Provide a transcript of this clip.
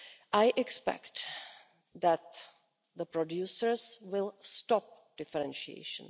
I expect that producers will stop differentiation.